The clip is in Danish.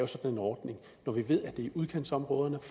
sådan en ordning når vi ved at det er i udkantsområderne